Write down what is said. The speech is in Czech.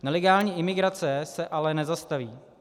Nelegální imigrace se ale nezastaví.